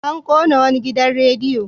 An ƙona wani gidan radiyo.